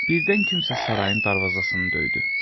Birdən kimsə sarayın darvazasını döydü.